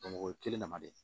o ye kelen dama de ye